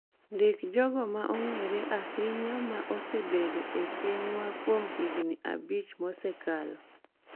Ndik jogo ma ong'ere ahinya ma osebedo e pinywa kuom higni abich mosekalo